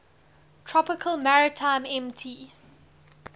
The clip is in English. tropical maritime mt